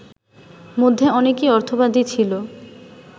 মধ্যে অনেকেই অর্থবাদী ছিল